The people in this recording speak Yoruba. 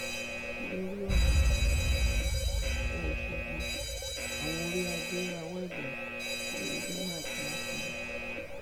lórí ọnà ìbàdániwòòsogbó àwọn oríadé rawọ ẹbẹ sí oyetola àti mákindé